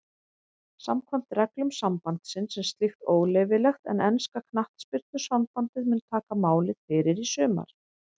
Samkvæmt reglum sambandsins er slíkt óleyfilegt en enska knattspyrnusambandið mun taka máið fyrir í sumar.